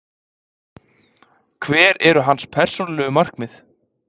Hver eru hans persónulegu markmið?